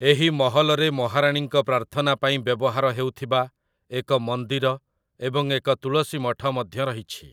ଏହି ମହଲରେ ମହାରାଣୀଙ୍କ ପ୍ରାର୍ଥନା ପାଇଁ ବ୍ୟବହାର ହେଉଥିବା ଏକ ମନ୍ଦିର ଏବଂ ଏକ ତୁଳସୀ ମଠ ମଧ୍ୟ ରହିଛି ।